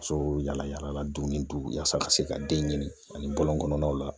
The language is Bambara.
Musow yala yala dugu yaasa ka se ka den ɲini ani bɔlɔn kɔnɔnaw la